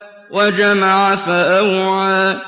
وَجَمَعَ فَأَوْعَىٰ